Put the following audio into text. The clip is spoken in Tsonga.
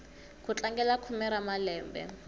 ku tlangela khume ra malembe